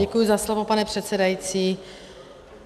Děkuji za slovo, pane předsedající.